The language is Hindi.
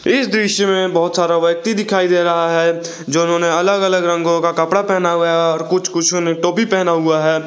इस दृश्य में बहुत सारा व्यक्ति दिखाई दे रहा है जो उन्होंने अलग अलग रंगों का कपड़ा पहना हुआ है और कुछ कुछ ने टोपी पहना हुआ है।